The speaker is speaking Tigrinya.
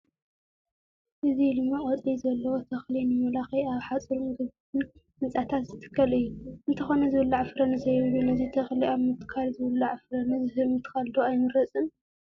እዚ ልሙዕ ቆፅሊ ዘለዎ ተኽሊ ንመመላክዒ ኣብ ሓፁርን ግብን ህንፃታት ዝትከል እዩ፡፡ እንተኾነ ዝብላዕ ፍረ ንዘይብሉ ነዚ ተኽሊ ካብ ምትካል ዝብላዕ ፍረ ንዝህብ ምትካል ዶ ኣይምረፅን?